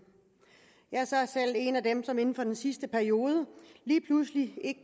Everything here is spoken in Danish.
jeg er selv en af dem som inden for den sidste periode lige pludselig ikke